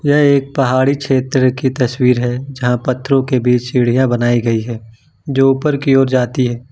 यह एक पहाड़ी क्षेत्र की तस्वीर है जहां पत्थरों के बीच सीढ़ियां बनाई गई है जो ऊपर की ओर जाती है।